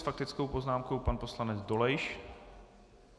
S faktickou poznámkou pan poslanec Dolejš.